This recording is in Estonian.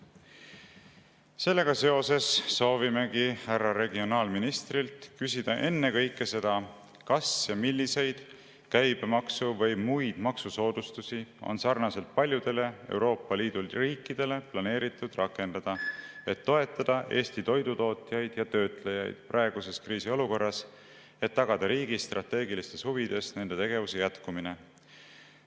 Sellega seoses soovimegi härra regionaalministrilt küsida ennekõike seda, kas ja milliseid käibemaksu‑ või muid maksusoodustusi on sarnaselt paljude Euroopa Liidu riikidega planeeritud rakendada, et toetada Eesti toidutootjaid ja ‑töötlejaid praeguses kriisiolukorras, et tagada riigi strateegilistes huvides nende tegevuse jätkumine.